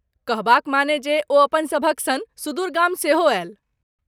कहबाक माने जे, ओ अपनसभक सन सुदूर गाम सेहो आयल।